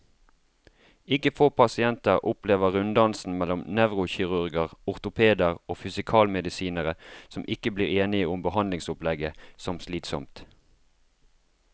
Ikke få pasienter opplever runddansen mellom nevrokirurger, ortopeder og fysikalmedisinere, som ikke blir enige om behandlingsopplegget, som slitsom.